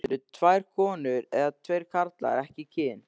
Eru tvær konur eða tveir karlar ekki kyn?